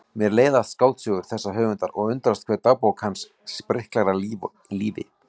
Mér leiðast skáldsögur þessa höfundar og undrast hve dagbókin hans spriklar af lífi.